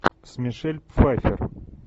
с мишель пфайффер